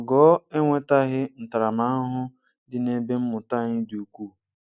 Ogo enwetaghị ntaramahụhụ dị nebe mmụta anyị dị ukwuu.